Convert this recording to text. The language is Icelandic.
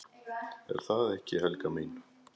Ertu það ekki, Helga mín?